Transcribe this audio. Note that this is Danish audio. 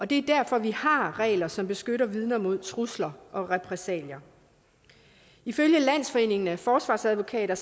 det er derfor at vi har regler som beskytter vidner mod trusler og repressalier ifølge landsforeningen af forsvarsadvokater